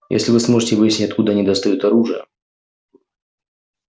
если вы сможете выяснить откуда они достают оружие